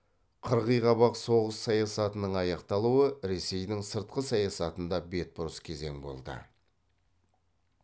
қырғиқабақ соғыс саясатының аяқталуы ресейдің сыртқы саясатында бетбұрыс кезең болды